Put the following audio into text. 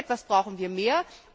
So etwas brauchen wir mehr.